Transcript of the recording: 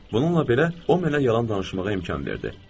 Bununla belə, o mənə yalan danışmağa imkan verdi.